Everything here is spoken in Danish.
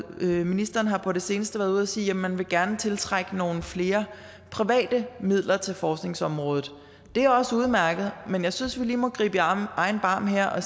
ministeren har på det seneste været ude at sige at man gerne vil tiltrække nogle flere private midler til forskningsområdet det er også udmærket men jeg synes vi lige må gribe i egen barm her og